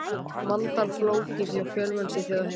Manntal flókið hjá fjölmennustu þjóð heims